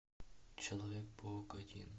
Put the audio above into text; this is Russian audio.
человек паук один